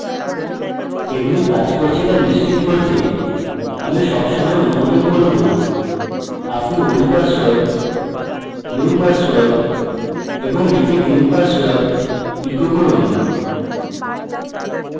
এগুলি কাজ করছে to নিশ্চিত করতে আমি সবসময় অনুমোদন করব আপনি old password new password এবং repeat new password echo করুন